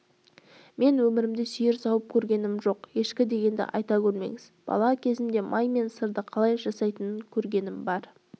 мен өмірімде сиыр сауып көргенім жоқ ешкі дегенді айта көрмеңіз бала кезімде май мен сырды қалай жасайтынын көргенім бар